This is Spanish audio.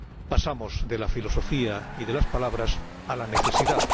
Pasamos de la filosofía y de las palabras a la necesidad.